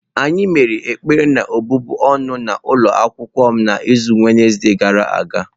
Anyị mere ekpere na-ọbụbụ ọnụ n'ụlọ akwụkwọ m n'izu Wednesde gara aga.